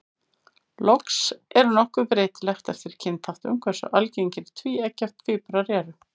Loks er nokkuð breytilegt eftir kynþáttum hversu algengir tvíeggja tvíburar eru.